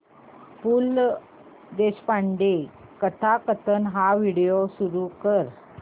पु ल देशपांडे कथाकथन हा व्हिडिओ सुरू कर